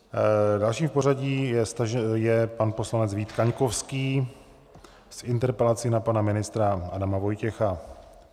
Dalším v pořadí je pan poslanec Vít Kaňkovský s interpelací na pana ministra Adama Vojtěcha.